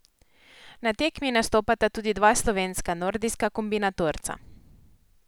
Na tekmi nastopata tudi dva slovenska nordijska kombinatorca.